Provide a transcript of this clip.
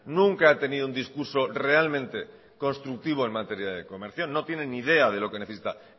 nunca ha tenido un discurso realmente constructivo en materia de comercio no tiene ni idea de lo que necesita